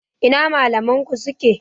Ina malaman ku suke?